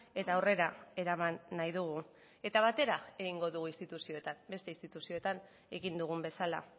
eta aurrera eraman nahi dugu eta batera egingo dugu instituzioetan beste instituzioetan egin dugun bezala